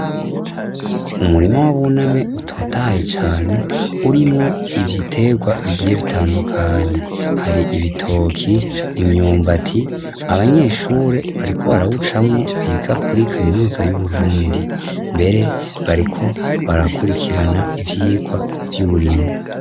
Umurimo wu bunani butotaye cane urimwo ibitegwa bigiye bitandukanye hari ibitoki, imyumbati abanyeshuri bariko barahucamo biga kuri kaminuza y'uburundi mbere bariko barakurikirana ivyikwa vy'uburimyi.